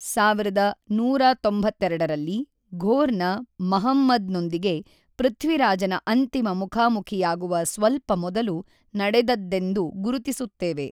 ೧೧೯೨ರಲ್ಲಿ ಘೋರ್‌ನ ಮಹಮ್ಮದ್‌ನೊಂದಿಗೆ ಪೃಥ್ವಿರಾಜನ ಅಂತಿಮ ಮುಖಾಮುಖಿಯಾಗುವ ಸ್ವಲ್ಪ ಮೊದಲು ನಡೆದದ್ದೆಂದು ಗುರುತಿಸುತ್ತವೆ.